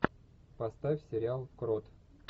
поставь сериал крот